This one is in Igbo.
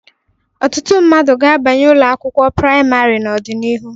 Ọtụtụ mmadụ ga-abanye ụlọ akwụkwọ praịmarị n'ọdịnihu.